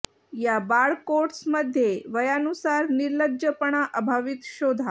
या बाळ कोट्स मध्ये वयानुसार निर्लज्जपणा अभावित शोधा